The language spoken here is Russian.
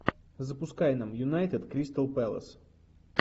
запускай нам юнайтед кристал пэлас